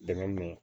Dɛmɛ don